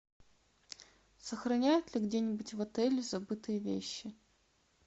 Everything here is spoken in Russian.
сохраняют ли где нибудь в отеле забытые вещи